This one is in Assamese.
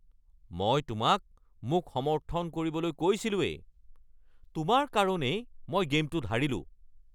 মই তোমাক মোক সমৰ্থন কৰিবলৈ কৈছিলোৱেই! তোমাৰ কাৰণেই মই গে'মটোত হাৰিলোঁ!